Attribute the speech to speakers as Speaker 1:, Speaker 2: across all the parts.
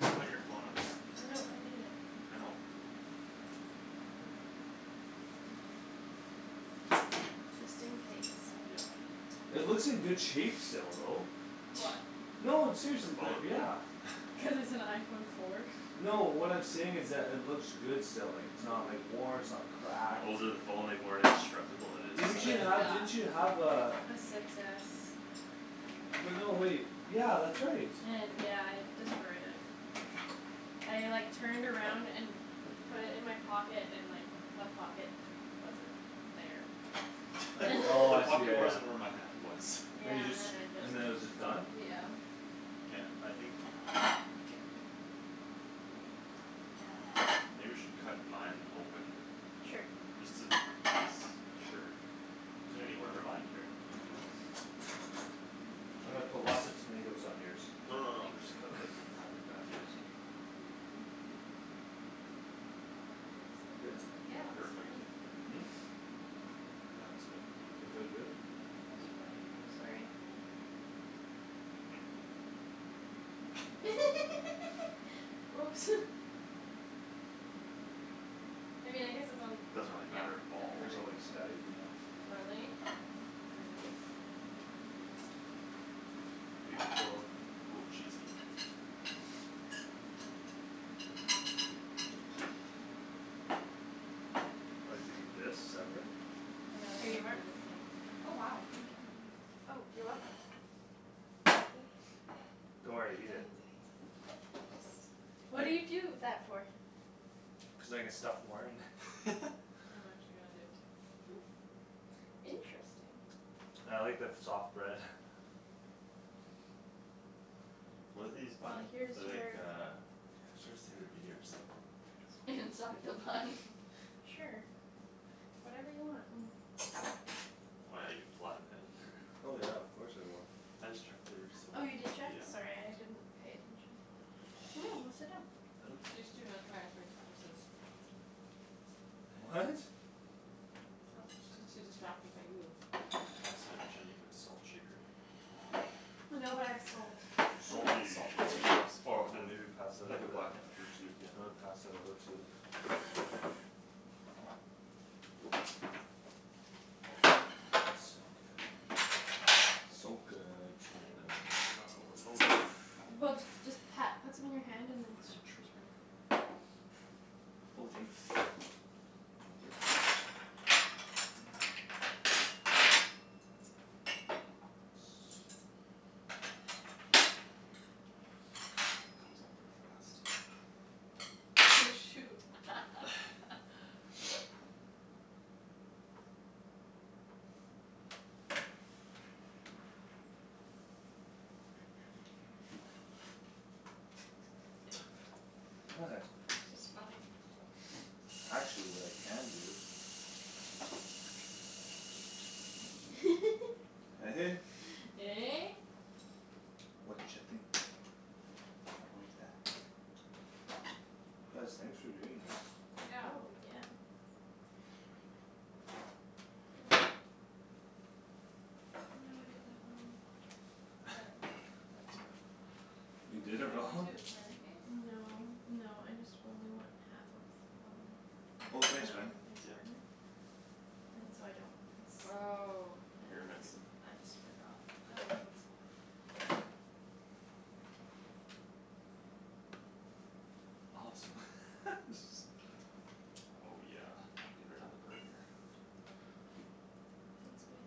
Speaker 1: Put your phone up top there.
Speaker 2: No, I need it.
Speaker 1: I know.
Speaker 2: Just in case.
Speaker 1: Yeah.
Speaker 3: It looks in good shape still though.
Speaker 4: What?
Speaker 3: No, I'm seriously,
Speaker 1: The
Speaker 3: they're,
Speaker 1: phone?
Speaker 3: yeah.
Speaker 2: Cuz it's an iPhone four.
Speaker 3: No, what I'm saying is that it looks good still, like, it's not, like, worn, it's not cracked
Speaker 1: The older the phone, like, more indestructible it
Speaker 3: Didn't
Speaker 1: is.
Speaker 3: you have,
Speaker 2: Yeah.
Speaker 3: didn't
Speaker 4: Yeah.
Speaker 3: you have uh
Speaker 2: A Six S.
Speaker 3: But no, wait, yeah, that's right.
Speaker 2: Yeah, I destroyed it. I, like, turned around and put it in my pocket and, like, the pocket wasn't there.
Speaker 3: I, oh,
Speaker 1: The
Speaker 3: I see, yeah,
Speaker 1: pocket
Speaker 3: yeah.
Speaker 1: wasn't where my hand was.
Speaker 3: And you
Speaker 2: Yeah, and
Speaker 3: just,
Speaker 2: then it just,
Speaker 3: and then it was just done?
Speaker 2: yeah.
Speaker 1: Yeah, I think
Speaker 2: K.
Speaker 4: K.
Speaker 1: Maybe we should cut mine open.
Speaker 2: Sure.
Speaker 1: Just to be s- sure.
Speaker 3: You got
Speaker 1: Anywhere,
Speaker 3: your
Speaker 1: like, I
Speaker 3: bun?
Speaker 1: don't care.
Speaker 3: I'm gonna put lots of tomatoes on yours.
Speaker 1: No, no, no, we'll just
Speaker 4: Thanks.
Speaker 1: cut it, like, in half like
Speaker 4: I
Speaker 1: that, yeah.
Speaker 4: appreciate it. That feels
Speaker 1: Good?
Speaker 4: so good.
Speaker 2: Yeah, looks great.
Speaker 1: Perfect. Yeah, that looks good to me.
Speaker 3: That feel good?
Speaker 4: Yeah, it feels really
Speaker 2: I'm
Speaker 4: good.
Speaker 2: sorry. Oops. I mean I guess it's on,
Speaker 1: Doesn't really
Speaker 2: yeah.
Speaker 1: matter at
Speaker 3: Your
Speaker 1: all.
Speaker 3: hair's all like staticy now.
Speaker 4: Really? Great.
Speaker 3: Beautiful.
Speaker 1: Oh, cheesy.
Speaker 3: I like to eat this separate.
Speaker 4: And then
Speaker 2: Here
Speaker 4: I'm
Speaker 2: you
Speaker 4: gonna
Speaker 2: are.
Speaker 4: do the same. Oh wow, thank you.
Speaker 2: Oh, you're welcome
Speaker 3: Don't worry,
Speaker 4: He
Speaker 3: eat
Speaker 4: does
Speaker 3: it.
Speaker 4: it like
Speaker 2: What
Speaker 4: that.
Speaker 2: do you
Speaker 3: I
Speaker 4: Just ignore him.
Speaker 2: do that for?
Speaker 3: Cuz I can stuff more in.
Speaker 4: I'm actually gonna do it too.
Speaker 2: Interesting.
Speaker 3: I like the f- soft bread.
Speaker 1: What are these
Speaker 2: Well,
Speaker 1: buns?
Speaker 2: here's
Speaker 1: They're like
Speaker 2: your
Speaker 1: uh Starts with a B or something.
Speaker 4: Inside the bun.
Speaker 2: Sure, whatever you want.
Speaker 1: Oh, yeah, you could flatten that in there.
Speaker 3: Oh yeah, of course I will.
Speaker 1: I just checked theirs so,
Speaker 2: Oh, you did check?
Speaker 1: yeah.
Speaker 2: Sorry, I didn't pay attention. Go sit down.
Speaker 4: She's too mesmerized by Thomas's.
Speaker 3: What?
Speaker 4: She's too distracted by you.
Speaker 1: Oh, snap, Shan, do you have a salt shaker?
Speaker 2: No, but I have salt.
Speaker 3: Salty.
Speaker 1: Salt containers or I
Speaker 3: Ooh,
Speaker 1: mean,
Speaker 3: maybe pass that
Speaker 1: like, a
Speaker 3: over.
Speaker 1: black pepper tube,
Speaker 3: You
Speaker 1: yeah.
Speaker 3: wanna pass that over to So good, so
Speaker 1: Oh,
Speaker 3: good.
Speaker 1: better not overload it.
Speaker 2: Well, just pat, put some in your hand and then
Speaker 1: True.
Speaker 2: sprinkle it.
Speaker 3: Oh, thanks. Put it on there.
Speaker 1: Here comes all the frost.
Speaker 4: Oh, shoot.
Speaker 3: What?
Speaker 4: It's just funny.
Speaker 3: Actually, what I can do Eh?
Speaker 2: Eh?
Speaker 3: Watcha think about that? Guys, thanks for doing this.
Speaker 4: Yeah.
Speaker 2: Oh, yeah.
Speaker 4: Go in.
Speaker 2: Oh no, I did that wrong.
Speaker 4: What?
Speaker 1: I did it
Speaker 3: You
Speaker 4: What were you
Speaker 3: did it
Speaker 1: wrong.
Speaker 4: trying
Speaker 3: wrong?
Speaker 4: to do, a smiley face?
Speaker 2: No, no, I just only want half of some.
Speaker 3: Oh
Speaker 2: An
Speaker 3: thanks, man.
Speaker 2: open face
Speaker 1: Yeah.
Speaker 2: burger? And so I don't want this.
Speaker 4: Oh
Speaker 2: And
Speaker 1: Here,
Speaker 2: then just,
Speaker 1: Megan.
Speaker 2: I just forgot.
Speaker 4: Oh, thanks, Paul.
Speaker 1: I hope
Speaker 3: Awesome.
Speaker 1: so. Oh, yeah, melt it right on the burger.
Speaker 2: Thanks, babe.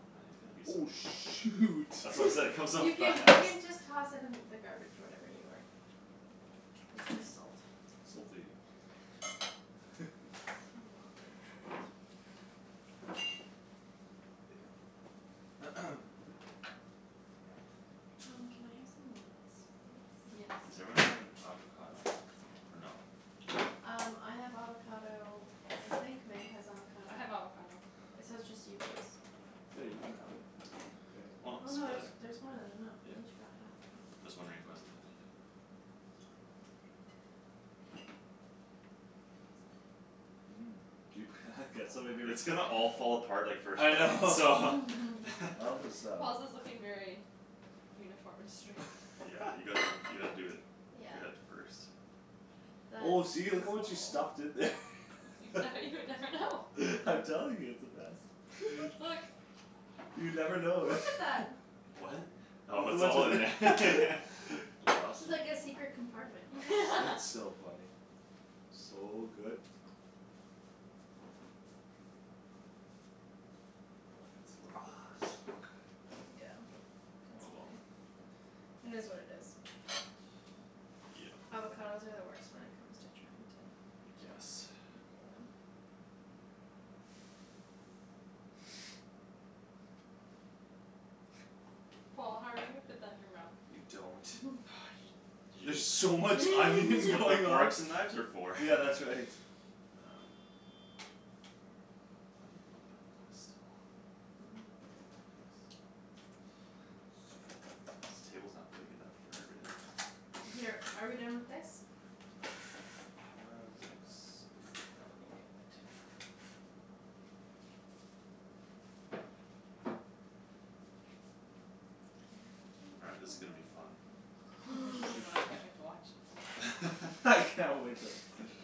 Speaker 1: Oh, man, there's gonna be
Speaker 3: Oh,
Speaker 1: some
Speaker 3: shoot.
Speaker 1: That's what I'm saying, comes off
Speaker 2: You
Speaker 1: fast.
Speaker 2: can, you can just toss it in the garbage whatever you aren't using. It's just salt.
Speaker 3: Salty.
Speaker 2: Not the end of the world. Um, can I have some lettuce, please?
Speaker 4: Yes.
Speaker 1: Is everyone having avocado? Or no?
Speaker 3: No?
Speaker 2: Um, I have avocado. I think Meg has avocado.
Speaker 4: I have avocado.
Speaker 2: It's, so it's just you boys.
Speaker 3: Yeah, you can have it. I don't
Speaker 1: Why
Speaker 3: care.
Speaker 2: Oh
Speaker 1: not
Speaker 2: no,
Speaker 1: split
Speaker 2: there's,
Speaker 1: it?
Speaker 2: there's more than enough
Speaker 1: Yeah.
Speaker 2: we each got half though.
Speaker 1: Just wondering who hasn't had it yet.
Speaker 3: You
Speaker 1: It's gonna all fall apart, like, first
Speaker 3: I
Speaker 1: bite, so.
Speaker 3: know. I'll just um
Speaker 4: Paul's is looking very uniform and straight.
Speaker 1: Yeah, you gotta, you gotta do it
Speaker 2: Yeah.
Speaker 1: good at first.
Speaker 3: Oh,
Speaker 2: That
Speaker 3: see, look at
Speaker 2: is
Speaker 3: what you
Speaker 2: Paul.
Speaker 3: stuffed in there.
Speaker 4: Now you would never know.
Speaker 3: I'm telling you, it's the best. You never know.
Speaker 2: Look at that.
Speaker 1: What?
Speaker 3: Look
Speaker 1: Oh it's
Speaker 3: at
Speaker 1: all in there.
Speaker 3: what ju-
Speaker 1: That's awesome.
Speaker 2: It's like a secret compartment.
Speaker 3: It's so funny. So good.
Speaker 1: Oh, yeah, it's a little bit hard still.
Speaker 2: Yeah, that's
Speaker 1: Oh, well.
Speaker 2: okay. It is what it is.
Speaker 1: Yeah.
Speaker 2: Avocados are the worst when it comes to trying to
Speaker 1: I guess.
Speaker 2: Yeah.
Speaker 4: Paul, how are you gonna fit that in your mouth?
Speaker 3: You
Speaker 1: You
Speaker 3: don't.
Speaker 1: don't. Y- You
Speaker 3: There's so much
Speaker 1: It's
Speaker 3: onion
Speaker 1: what the
Speaker 3: going on.
Speaker 1: forks and knives are for.
Speaker 3: Yeah, that's right.
Speaker 1: Um I need a little bit of that still. Thanks. This table's not big enough for everything.
Speaker 2: Here, are we done with this?
Speaker 1: I think so.
Speaker 2: Let me move it.
Speaker 1: All right, this is gonna be fun.
Speaker 4: Oh god, I can't wait to watch.
Speaker 3: I can't wait to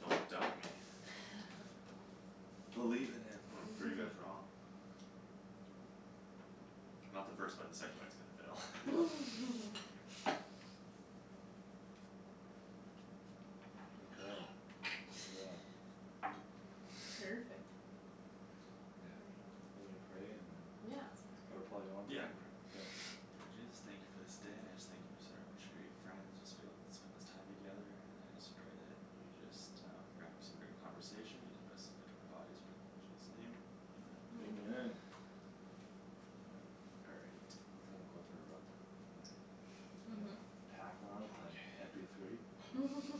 Speaker 1: Don't doubt me.
Speaker 3: Believe in him.
Speaker 1: I'm gonna prove you guys wrong. Not the first bite. The second bite's gonna
Speaker 3: Yeah.
Speaker 1: fail.
Speaker 3: Okay, yeah.
Speaker 2: Perfect.
Speaker 4: Perfect.
Speaker 3: Yeah,
Speaker 2: Right.
Speaker 3: are we praying and
Speaker 4: Yeah,
Speaker 2: Yeah, sounds
Speaker 3: Or
Speaker 2: great.
Speaker 4: sounds good.
Speaker 3: Paul, you wanna
Speaker 1: Yeah,
Speaker 3: pray?
Speaker 1: I can pray.
Speaker 3: K.
Speaker 1: Lord Jesus, thank you for this day, I just thank you for such great friends just Being able to spend this time together and I just pray that You just um bring up some great conversation just best fit to our bodies. Pray in Jesus' name, amen.
Speaker 2: Amen.
Speaker 4: Amen.
Speaker 3: Amen.
Speaker 1: All right.
Speaker 3: Feel like going for a run With my, you know? Pack on with my M
Speaker 1: Okay.
Speaker 3: P three.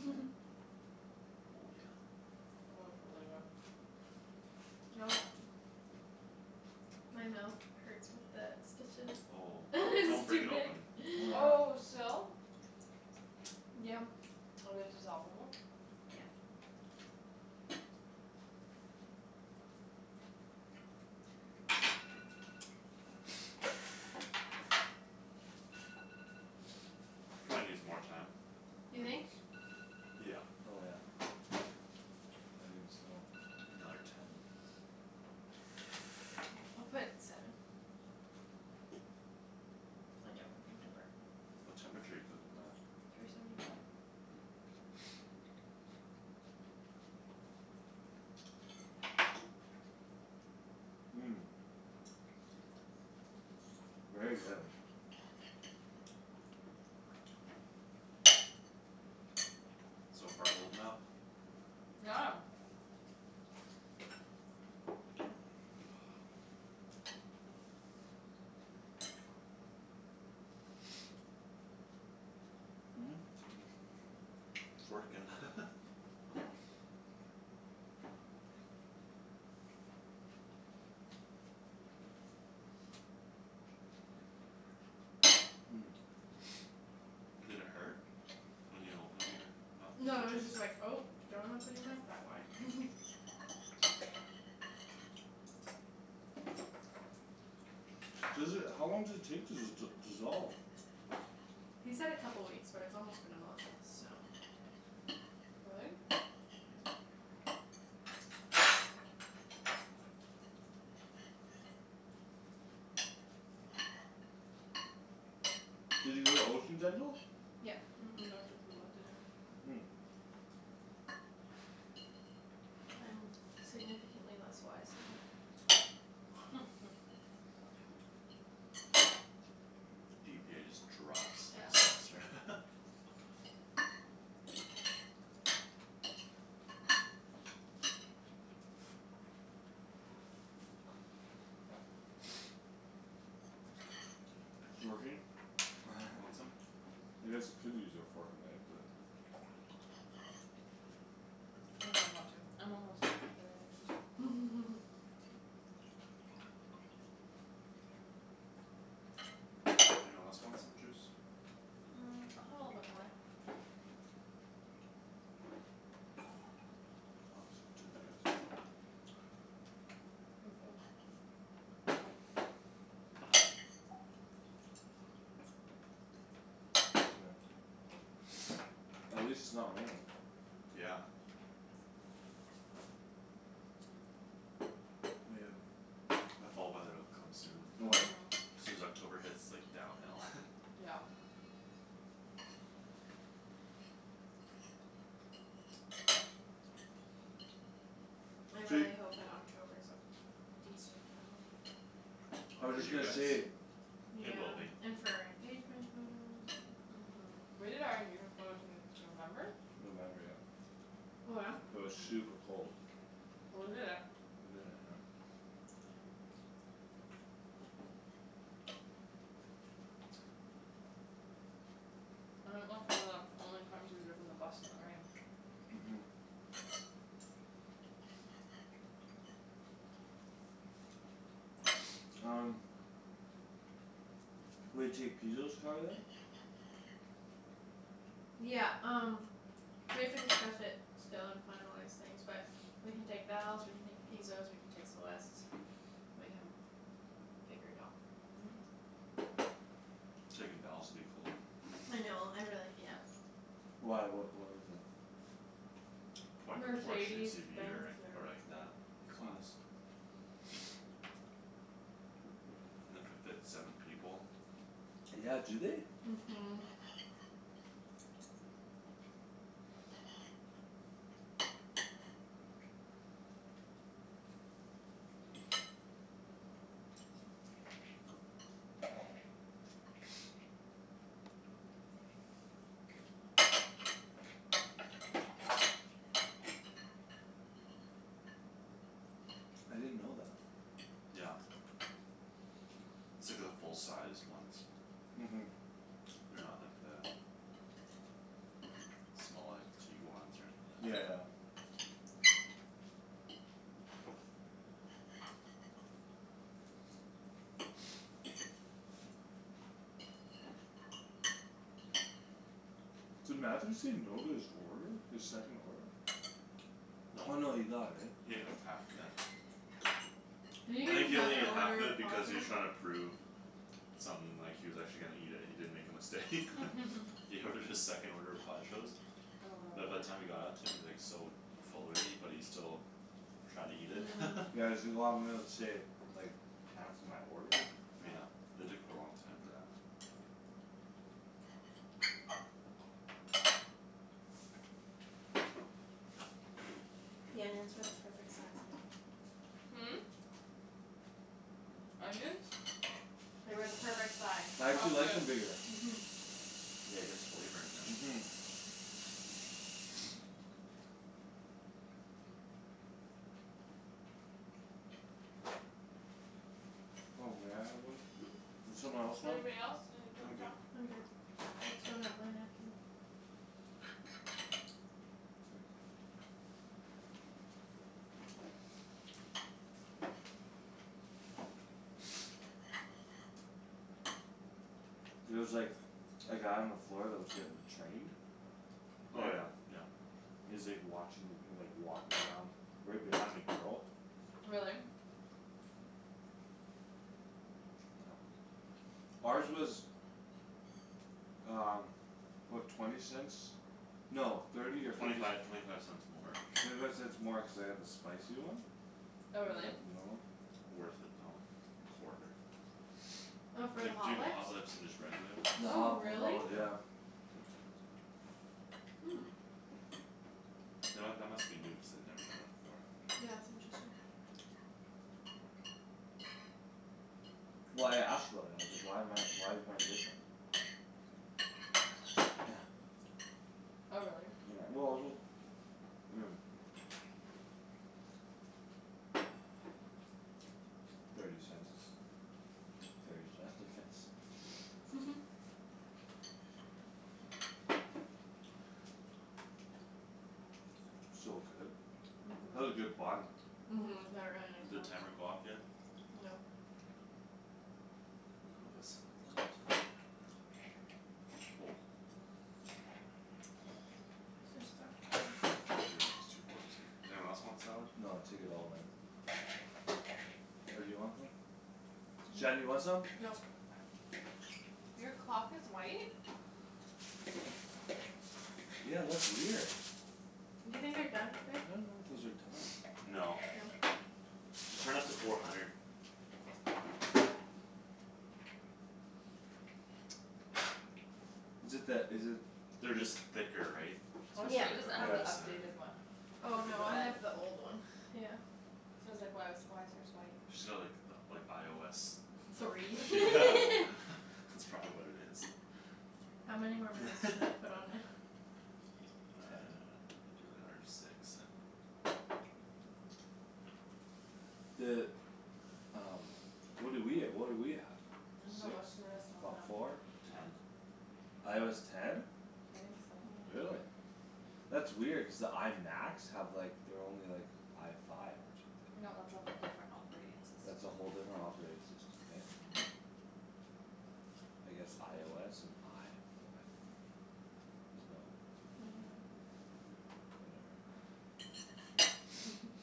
Speaker 1: Oh, yeah.
Speaker 4: Oh, it's really good.
Speaker 2: Oh. My mouth hurts with the stitches.
Speaker 1: Oh, don't
Speaker 2: It's
Speaker 1: break
Speaker 2: too
Speaker 1: it
Speaker 2: big.
Speaker 1: open.
Speaker 3: Oh
Speaker 4: Oh,
Speaker 3: yeah.
Speaker 4: still?
Speaker 2: Yum.
Speaker 4: Are they dissolve-able?
Speaker 2: Yeah.
Speaker 1: Probably needs more time,
Speaker 2: You
Speaker 1: I
Speaker 2: think?
Speaker 1: guess. Yeah.
Speaker 3: Oh, yeah. I didn't steal one.
Speaker 1: Another ten.
Speaker 2: I'll put seven. I don't want them to burn.
Speaker 1: What temperature you cook 'em at?
Speaker 2: Three seventy five.
Speaker 3: Very good.
Speaker 1: So far holding up.
Speaker 4: Yeah.
Speaker 1: It's working. Did it hurt when you opened up your mouth?
Speaker 2: No, it
Speaker 1: The
Speaker 2: was
Speaker 1: stitches?
Speaker 2: just like, "Oh, don't open your mouth that wide."
Speaker 3: Seriously, how long does it take to d- dissolve?
Speaker 2: He said a couple weeks but it's almost been a month, so
Speaker 4: Really?
Speaker 3: Did you go to Ocean Dental?
Speaker 2: Yep.
Speaker 4: Mhm, Doctor Poola did it.
Speaker 2: I'm significantly less wise now.
Speaker 1: GPA just drops next
Speaker 2: Yeah.
Speaker 1: semester.
Speaker 3: It working?
Speaker 1: Want some?
Speaker 3: I guess you could use your fork and knife but
Speaker 4: I don't really want to. I'm almost done with that anyways.
Speaker 1: Anyone else want some juice?
Speaker 4: Mm, I'll have a little bit more.
Speaker 3: I'll have some too if you have some left.
Speaker 4: Thank you.
Speaker 1: Mhm.
Speaker 3: Thanks, man. At least it's not raining.
Speaker 1: Yeah. The fall weather'll come soon.
Speaker 3: Oh, yeah.
Speaker 4: Mhm.
Speaker 1: Soon as October hits, like, downhill.
Speaker 4: Yeah.
Speaker 2: I
Speaker 3: So you
Speaker 2: really hope that October's a decent though.
Speaker 3: I
Speaker 1: Oh,
Speaker 3: was
Speaker 1: for
Speaker 3: just
Speaker 1: you
Speaker 3: gonna
Speaker 1: guys?
Speaker 3: say
Speaker 1: It will
Speaker 2: Yeah.
Speaker 1: be.
Speaker 2: And for our engagement photos and
Speaker 4: Mhm. We did our engagement photos in November?
Speaker 3: November, yep.
Speaker 2: Oh yeah?
Speaker 3: It was
Speaker 4: Mhm.
Speaker 3: super cold.
Speaker 4: Well, we did it.
Speaker 3: We did it, yep.
Speaker 4: I think that's one of the only times we've driven the bus in the rain.
Speaker 3: Mhm. Um Will you take Pizo's car then?
Speaker 2: Yeah, um we have to discuss it still and finalize things but We can take Val's, we can take Pizo's, we can take Celeste's. We can figure it out.
Speaker 4: Mhm.
Speaker 1: Taking Val's would be cool.
Speaker 2: I know, I really, yes.
Speaker 3: Why, what, what is it?
Speaker 1: Probably could Porsche
Speaker 2: Mercedes
Speaker 1: SUV
Speaker 2: Benz
Speaker 1: or, or
Speaker 2: or
Speaker 1: like that class. It could fit seven people.
Speaker 3: Yeah, do they?
Speaker 2: Mhm.
Speaker 3: I didn't know that.
Speaker 1: Yep. It's like the full-sized ones.
Speaker 3: Mhm.
Speaker 1: They're not like the Small, like Tiguans or anything like
Speaker 3: Yeah, yeah.
Speaker 1: that.
Speaker 3: Did Matthew say no to his order? His second order? Oh,
Speaker 1: No.
Speaker 3: no, he got it, right?
Speaker 1: He had like half of it.
Speaker 2: Did he
Speaker 1: I
Speaker 2: eat
Speaker 1: think he only
Speaker 2: another
Speaker 1: needed half
Speaker 2: order
Speaker 1: of
Speaker 2: of
Speaker 1: it because he was
Speaker 2: Pajo's?
Speaker 1: trying to prove Something, like, he was actually gonna eat it and he didn't make a mistake. He ordered his second order of Pajo's.
Speaker 4: Oh
Speaker 1: But by
Speaker 4: god.
Speaker 1: the time it got out to him he was, like, so Full already but he still Tried to eat it.
Speaker 3: Yeah, he's like, "Oh, I'm gonna save, like, time for my order?"
Speaker 1: Yeah, it took a long time for that.
Speaker 2: The onions were the perfect size, Megan.
Speaker 4: Hmm? Onions?
Speaker 2: They were the perfect size.
Speaker 3: I
Speaker 4: Oh,
Speaker 3: actually like
Speaker 4: good.
Speaker 3: them bigger.
Speaker 2: Mhm.
Speaker 1: Yeah, it gets flavor in there.
Speaker 3: Mhm. Oh, may I have one?
Speaker 4: Hmm?
Speaker 3: Does someone else want?
Speaker 4: Anybody else need a
Speaker 1: I'm
Speaker 4: paper
Speaker 1: good.
Speaker 4: towel?
Speaker 2: I'm good. I still got my napkin.
Speaker 3: K. There was, like A guy on the floor that was getting Trained?
Speaker 1: Oh,
Speaker 3: Paul?
Speaker 1: yeah, yeah.
Speaker 3: He was, like, watching, like, he was, like, walking around Right behind a girl.
Speaker 4: Really?
Speaker 3: Yeah. Ours was Um, what? Twenty cents? No, thirty or
Speaker 1: Twenty
Speaker 3: fifty
Speaker 1: five,
Speaker 3: c-
Speaker 1: twenty five cents more.
Speaker 3: Thirty five cents more cuz I got the spicy one. They
Speaker 4: Oh, really?
Speaker 3: had the normal.
Speaker 1: Worth it though, quarter.
Speaker 2: Oh, for the
Speaker 1: Like
Speaker 2: Hot
Speaker 1: Jin
Speaker 2: Lips?
Speaker 1: Hot Lips and just regular lips.
Speaker 3: The
Speaker 2: Oh
Speaker 4: Oh,
Speaker 3: Hot, the
Speaker 4: really?
Speaker 3: Hot
Speaker 2: really?
Speaker 3: Lips, yeah.
Speaker 1: Yeah.
Speaker 4: Hmm.
Speaker 1: You know what? That must be new cuz they'd never done that before.
Speaker 2: Yeah, it's interesting.
Speaker 3: Well, I asked about it. I was like, "Why am I, why is mine different?"
Speaker 4: Oh, really?
Speaker 3: Yeah, well, just I mean Thirty cents is thirty cents, I guess. So good. That's a
Speaker 4: Mhm.
Speaker 3: good bun.
Speaker 2: Mhm,
Speaker 4: Mhm.
Speaker 2: they're really nice
Speaker 1: Did
Speaker 2: plums.
Speaker 1: timer go off yet?
Speaker 2: No.
Speaker 1: Okay. A little bit of salad left.
Speaker 2: Just spot kill 'em.
Speaker 1: Pretty much just two forks in here. Does anyone else want salad?
Speaker 3: No, take it all man. Or do you want some? Shan, do you
Speaker 4: No.
Speaker 3: want some?
Speaker 2: Nope.
Speaker 4: I'm fine. Your clock is white?
Speaker 3: Yeah, that's weird.
Speaker 2: Do you think they're done, babe?
Speaker 3: I don't know if those are done.
Speaker 1: No.
Speaker 2: No?
Speaker 1: Just turn up to four hundred.
Speaker 2: K.
Speaker 3: Is it that, is it
Speaker 1: They're just thicker, right? So
Speaker 4: Oh,
Speaker 1: just
Speaker 2: Yeah.
Speaker 1: try
Speaker 4: she
Speaker 1: to
Speaker 4: doesn't
Speaker 1: cook all the
Speaker 4: have
Speaker 1: way
Speaker 4: the
Speaker 1: the
Speaker 3: Yeah.
Speaker 1: center
Speaker 4: updated
Speaker 1: there.
Speaker 4: one.
Speaker 2: Oh
Speaker 4: Cuz of
Speaker 2: no,
Speaker 4: the
Speaker 2: I
Speaker 4: bag.
Speaker 2: have the old one, yeah.
Speaker 4: Cuz I was, like, "Why was, why is hers white?"
Speaker 1: She's got like the, like, IOS.
Speaker 2: Three.
Speaker 1: Yeah,
Speaker 3: Cool.
Speaker 1: that's probably what it is.
Speaker 2: How many more minutes do I put on it?
Speaker 3: Ten.
Speaker 1: Do, like, another six, seven.
Speaker 3: The um What do we, uh what do we have?
Speaker 4: I dunno,
Speaker 3: Six?
Speaker 4: what's the newest on
Speaker 3: Fo-
Speaker 4: that?
Speaker 3: four?
Speaker 1: Ten.
Speaker 3: IOS ten?
Speaker 4: I think so.
Speaker 2: Mhm.
Speaker 3: Really? That's weird cuz the I Macs have, like, they're only, like, I five
Speaker 4: No,
Speaker 3: or
Speaker 4: that's
Speaker 3: something, right?
Speaker 4: a whole different operating system.
Speaker 3: That's a whole different operating system, hey? I guess IOS and I five. There's no
Speaker 2: I dunno.
Speaker 3: Whatever.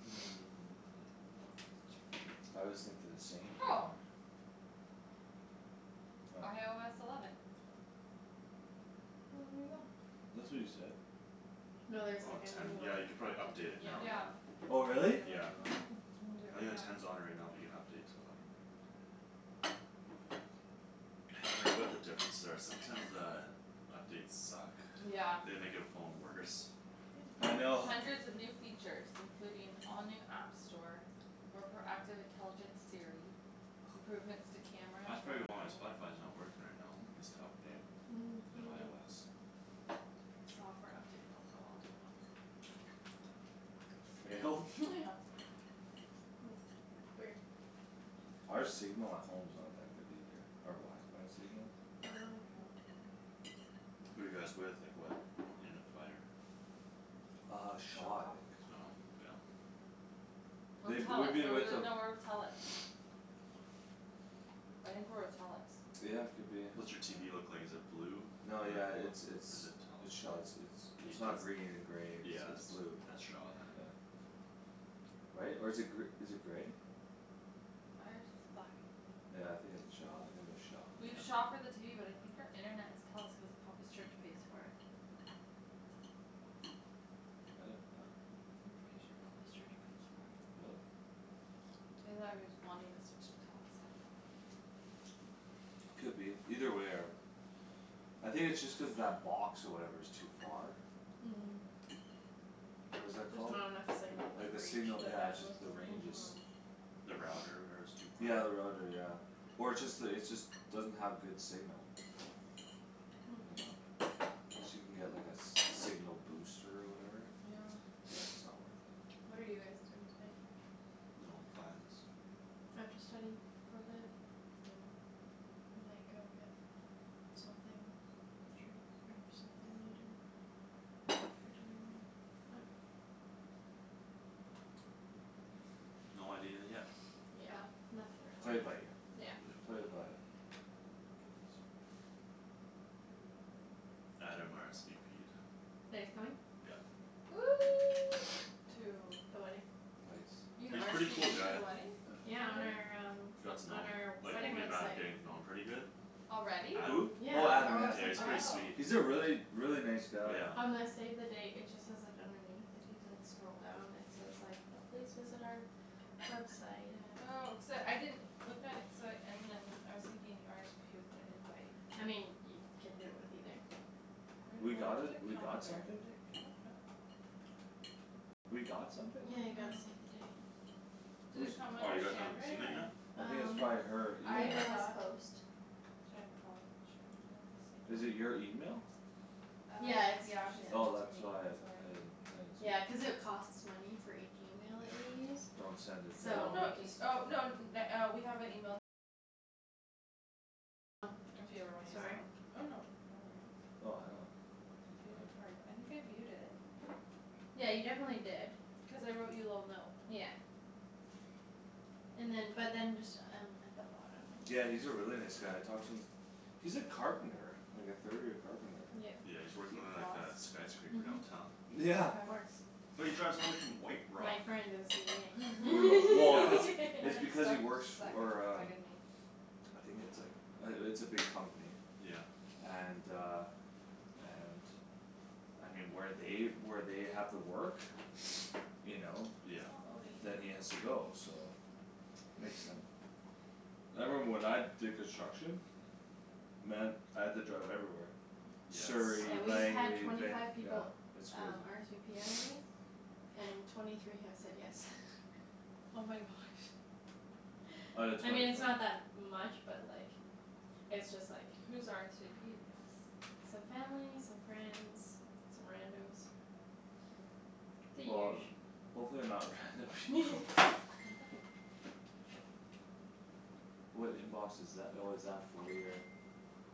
Speaker 4: Sure.
Speaker 3: I always think they're the same. What?
Speaker 4: IOS eleven.
Speaker 2: Well,
Speaker 4: Well,
Speaker 2: there
Speaker 4: there you
Speaker 2: you
Speaker 4: go.
Speaker 2: go.
Speaker 3: That's what you said.
Speaker 2: No,
Speaker 4: No, there's,
Speaker 2: there's,
Speaker 1: Oh,
Speaker 4: like,
Speaker 2: like, a
Speaker 4: a
Speaker 2: new
Speaker 1: ten.
Speaker 2: one
Speaker 4: new
Speaker 1: Yeah, you
Speaker 4: one.
Speaker 1: could probably
Speaker 2: too,
Speaker 1: update it
Speaker 2: yeah.
Speaker 1: now,
Speaker 4: Yeah.
Speaker 1: yeah.
Speaker 3: Oh
Speaker 2: Already
Speaker 3: really?
Speaker 2: have a
Speaker 1: Yeah.
Speaker 2: new one.
Speaker 4: Mhm. I'm gonna do it
Speaker 1: I think
Speaker 4: right
Speaker 1: the
Speaker 4: now.
Speaker 1: ten's on it right now but you can update to eleven. Haven't read what the differences are. Sometimes the Updates suck.
Speaker 4: Yeah.
Speaker 1: They make your phone worse.
Speaker 2: Yum
Speaker 3: I know.
Speaker 4: Hundreds of new features, including all new app store More proactive intelligent Siri Improvements to camera and
Speaker 1: That's probably
Speaker 4: photo
Speaker 1: why my Spotify's not working right now. Needs to update. New
Speaker 2: Maybe
Speaker 1: IOS.
Speaker 4: Software update failed. Oh, well, I'll do it at home.
Speaker 3: For real?
Speaker 4: Yeah.
Speaker 2: Hmm, weird.
Speaker 3: Our signal at home's not that good either. Our wifi signal.
Speaker 2: Oh, okay.
Speaker 4: No.
Speaker 1: Who you guys with? Like what internet provider?
Speaker 3: Uh Shaw, I
Speaker 4: Shaw.
Speaker 3: think.
Speaker 1: Oh, yeah.
Speaker 4: Or
Speaker 3: They, we've
Speaker 4: Telus. Are
Speaker 3: been
Speaker 4: we
Speaker 3: with
Speaker 4: with,
Speaker 3: them
Speaker 4: no, we're with Telus. I think we're with Telus.
Speaker 3: Yeah, could be,
Speaker 1: What's your TV
Speaker 3: yeah.
Speaker 1: look like, is it blue? Or
Speaker 3: No, yeah, it's,
Speaker 1: what's it? Or is
Speaker 3: it's,
Speaker 1: it
Speaker 3: it's Shaw. it's, it's
Speaker 1: Telus? It's
Speaker 3: It's
Speaker 1: the
Speaker 3: not green and grey; it's,
Speaker 1: Yeah,
Speaker 3: it's
Speaker 1: that's,
Speaker 3: blue.
Speaker 1: that's Shaw then.
Speaker 3: Yeah. Right? Or is it gr- is it grey?
Speaker 4: Ours is black and blue.
Speaker 3: Yeah, I think it's Shaw, I think we have Shaw.
Speaker 4: We have
Speaker 1: Yeah.
Speaker 4: Shaw for the TV but I think our internet is Telus cuz Papa's church pays for it.
Speaker 3: I didn't know that.
Speaker 4: I'm pretty sure Papa's church pays for it.
Speaker 3: Really?
Speaker 4: Either that or he's wanting to switch to Telus. I don't remember.
Speaker 3: Could be. Either way our I think it's just cuz that box or whatever is too far? What is that
Speaker 2: Just
Speaker 3: called?
Speaker 2: not enough signal
Speaker 3: Like
Speaker 2: like
Speaker 3: the
Speaker 2: reach
Speaker 3: signal,
Speaker 2: the
Speaker 3: yeah, it's just
Speaker 2: bandwidth
Speaker 3: the
Speaker 2: or
Speaker 3: range is
Speaker 2: whatever.
Speaker 4: Mhm.
Speaker 1: The router, whatever, is too far?
Speaker 3: Yeah, the router, yeah. Or it's just the, it's just Doesn't have good signal. You know? Guess you can get like a s- signal booster or whatever?
Speaker 4: Yeah.
Speaker 3: But it's not worth it.
Speaker 4: What are you guys doing tonight?
Speaker 1: No plans.
Speaker 2: I have to study for a bit.
Speaker 4: Oh.
Speaker 2: We might go get something, treat or something later after dinner maybe, I dunno.
Speaker 1: No idea yet.
Speaker 2: Yeah, nothing
Speaker 3: Play it by
Speaker 2: really.
Speaker 3: ear.
Speaker 2: Yeah.
Speaker 3: Play it by
Speaker 1: Oh my goodness. Adam RSVP'd.
Speaker 2: That he's coming?
Speaker 1: Yep.
Speaker 4: To
Speaker 2: The wedding.
Speaker 3: Nice.
Speaker 4: You can
Speaker 1: He's pretty
Speaker 4: RSVP
Speaker 1: cool
Speaker 4: to
Speaker 1: guy.
Speaker 4: the wedding?
Speaker 2: Yeah, on our
Speaker 4: Already?
Speaker 2: um
Speaker 1: Got to know
Speaker 2: on
Speaker 1: him.
Speaker 2: our
Speaker 1: Like
Speaker 2: wedding
Speaker 1: me and Matt are
Speaker 2: website.
Speaker 1: getting to know him pretty good.
Speaker 4: Already?
Speaker 3: Who?
Speaker 1: Adam.
Speaker 2: Yeah,
Speaker 3: Oh
Speaker 1: Adam?
Speaker 3: Adam,
Speaker 2: our
Speaker 3: yeah.
Speaker 1: Yeah,
Speaker 2: website's
Speaker 1: he's
Speaker 2: ready.
Speaker 1: pretty
Speaker 4: Oh.
Speaker 1: sweet.
Speaker 3: He's a really, really, nice guy.
Speaker 1: Yeah.
Speaker 2: On the save the date it just says, like, underneath if you, like, scroll down it says like, uh "Please visit our website at"
Speaker 4: Oh, cuz uh I didn't Look at it cuz I, and then I was thinking RSVP with the invite.
Speaker 2: I mean, you can do it with either.
Speaker 3: We
Speaker 4: Where,
Speaker 3: got
Speaker 4: what
Speaker 3: a,
Speaker 4: does it
Speaker 3: we
Speaker 4: come
Speaker 3: got
Speaker 4: under?
Speaker 3: something?
Speaker 4: Did it come out, nope.
Speaker 3: We got something?
Speaker 2: Yeah, you got a
Speaker 4: Mhm.
Speaker 2: save the date.
Speaker 4: Did it
Speaker 3: Whose
Speaker 4: come
Speaker 1: Oh,
Speaker 4: under
Speaker 1: you guys haven't
Speaker 4: Shandryn
Speaker 1: seen it yet?
Speaker 4: or
Speaker 3: I think it's
Speaker 2: Um,
Speaker 3: probably her email.
Speaker 4: I
Speaker 2: Paperless
Speaker 4: thought
Speaker 2: Post.
Speaker 4: Shan and Paul and Shandryn, there it is, save
Speaker 3: Is
Speaker 4: the
Speaker 3: it
Speaker 4: date.
Speaker 3: your email?
Speaker 4: Uh
Speaker 2: Yeah, it's, yeah.
Speaker 4: yeah, she sent it
Speaker 3: Oh
Speaker 4: to me;
Speaker 3: that's why
Speaker 4: that's
Speaker 3: I,
Speaker 4: why
Speaker 3: I
Speaker 4: you
Speaker 3: didn't,
Speaker 4: didn't get
Speaker 3: I
Speaker 4: it.
Speaker 3: didn't
Speaker 2: Yeah,
Speaker 3: see.
Speaker 2: cuz it costs money for each email that you use
Speaker 3: Don't send it
Speaker 4: Oh,
Speaker 2: So
Speaker 3: to
Speaker 4: no,
Speaker 2: we
Speaker 3: anyone.
Speaker 2: just
Speaker 4: y- oh, no n- na- uh we have a email If you ever wanna use that one. Oh, no, no worries.
Speaker 3: Oh I don't you know,
Speaker 4: View
Speaker 3: it
Speaker 4: the
Speaker 3: doesn't matter.
Speaker 4: card. I think I viewed it.
Speaker 2: Yeah, you definitely did.
Speaker 4: Cuz I wrote you a little note.
Speaker 2: Yeah. And then, but then just um at the bottom when
Speaker 3: Yeah,
Speaker 2: you
Speaker 3: he's a really nice guy. I talked to him. He's a carpenter. Like a third year carpenter.
Speaker 2: Yep.
Speaker 1: Yeah, he's
Speaker 4: Do
Speaker 1: working
Speaker 4: you
Speaker 3: He
Speaker 1: on like
Speaker 4: floss?
Speaker 1: a skyscraper downtown.
Speaker 2: Mhm,
Speaker 3: Yeah.
Speaker 2: of course.
Speaker 1: But he drives all the way from White Rock.
Speaker 2: My friend did the
Speaker 3: Brutal, well, cuz
Speaker 2: CVing.
Speaker 3: It's
Speaker 4: Except she
Speaker 3: because he works
Speaker 4: suck and
Speaker 3: for
Speaker 4: it's
Speaker 3: um
Speaker 4: bugging me.
Speaker 3: I think it's, like, uh it's a big company.
Speaker 1: Yeah.
Speaker 3: And uh and I mean, where they, where they have the work You know
Speaker 1: Yeah.
Speaker 4: It's not loading.
Speaker 3: Then he has to go, so Makes sense. I remember when I did construction Man, I had to drive everywhere
Speaker 1: Yeah,
Speaker 3: Surrey,
Speaker 2: Yeah, we've
Speaker 1: it sucks.
Speaker 2: had
Speaker 3: Langley,
Speaker 2: twenty
Speaker 3: Vanc-
Speaker 2: five
Speaker 3: yeah.
Speaker 2: people
Speaker 3: It's
Speaker 2: um
Speaker 3: crazy.
Speaker 2: RSVP already. And twenty three have said yes.
Speaker 4: Oh my gosh.
Speaker 3: Out of
Speaker 2: I mean,
Speaker 3: twenty
Speaker 2: it's
Speaker 3: fi-
Speaker 2: not that much but, like It's just, like
Speaker 4: Who's RSVP'd yes?
Speaker 2: Some family, some friends, some rando's The
Speaker 3: Well,
Speaker 2: usu.
Speaker 3: hopefully they're not random people. What inbox is tha- oh, is that for your